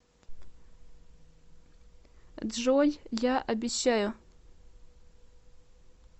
джой я обещаю